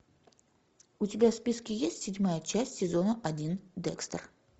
у тебя в списке есть седьмая часть сезона один декстер